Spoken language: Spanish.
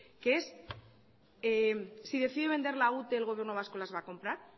que es si decide vender la ute el gobierno vasco las va a comprar